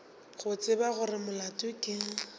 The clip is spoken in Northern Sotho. go tseba gore molato ke